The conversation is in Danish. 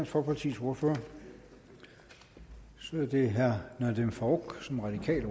folkepartis ordfører så er det herre nadeem farooq som radikal